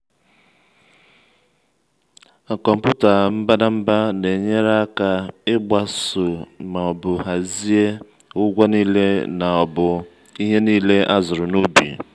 kọmpụta mbadamba na-enyere aka ịgbaso ma ọbu hazie ụgwọ niile ma ọbu ihe niile azuru na ubi.